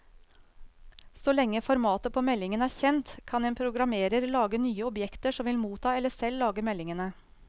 Så lenge formatet på meldingen er kjent, kan en programmerer lage nye objekter som vil motta eller selv lage meldingene.